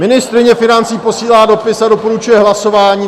Ministryně financí posílá dopis a doporučuje hlasování.